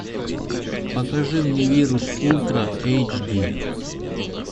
покажи мне вирус ультра эйч ди